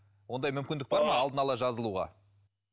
ондай мүмкіндік бар ма алдын ала жазылуға